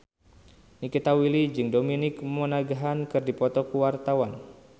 Nikita Willy jeung Dominic Monaghan keur dipoto ku wartawan